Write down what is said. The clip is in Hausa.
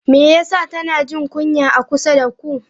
Me yasa tana jin kunya a kusa da ku?